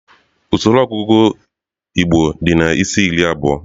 Usoro ọgụgụ igbo di na isi-iri abụọ